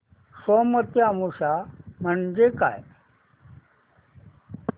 सोमवती अमावस्या म्हणजे काय